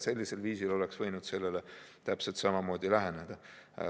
Sellisel viisil saaks ka algklasside puhul läheneda.